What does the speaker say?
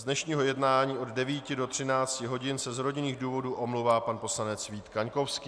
Z dnešního jednání od 9 do 13 hodin se z rodinných důvodů omlouvá pan poslanec Vít Kaňkovský.